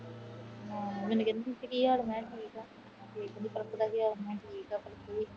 ਮੈਨੂੰ ਕਹਿੰਦੀ ਤੁਸੀਂ ਕੀ ਹਾਲ ਏ। ਮੈਂ ਕਿਹਾ ਠੀਕ ਆ। ਫਿਰ ਕਹਿੰਦੀ ਬਾਪੂ ਦਾ ਕੀ ਹਾਲ ਏ। ਮੈਂ ਕਿਹਾ ਠੀਕ ਆ।